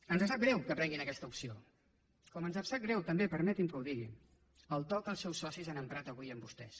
ens sap greu que prenguin aquesta opció com ens sap greu també permeti’m que ho digui el to que els seus socis han emprat avui amb vostès